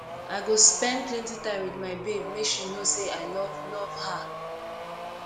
i go spend plenty time wit my babe make she know say i love love her